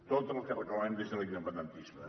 tot el que reclamem des de l’independentisme